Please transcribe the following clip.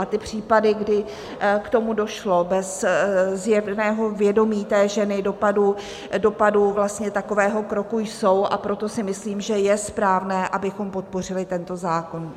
A ty případy, kdy k tomu došlo bez zjevného vědomí té ženy, dopadu takového kroku, jsou, a proto si myslím, že je správné, abychom podpořili tento zákon.